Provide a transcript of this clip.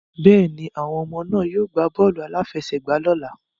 Bẹ́ẹ̀ni, àwọn ọmọ náà yóò gbá bọ́ọ̀lù-aláfẹ́sẹ̀gbà lọ́ la.